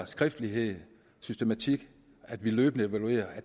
skriftlighed systematik og at vi løbende evaluerer